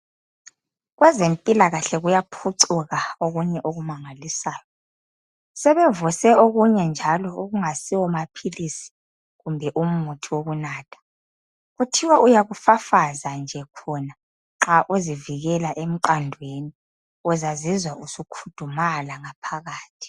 Kwezempilakahle kuyaphucuka okunye okumangalisayo. Sebevuse okunye njalo okungayisiwo maphilisi kumbe umuthi wokunatha. Kuthiwa uyakufafaza nje khona nxa uzivikela emqandweni, uzazizwa usukhudumala ngaphakathi.